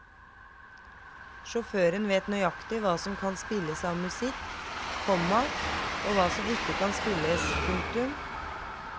Sjåføren vet nøykatig hva som kan spilles av musikk, komma og hva som ikke kan spilles. punktum